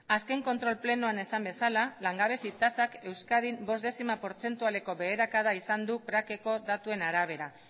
azken kontrol plenoan esan bezala langabezi tasak euskadin bost dezima portzentualeko beherakada izan du datuen arabera